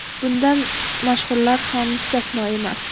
Bundan mashhurlar ham mustasno emas.